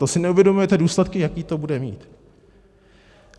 To si neuvědomujete důsledky, jaké to bude mít?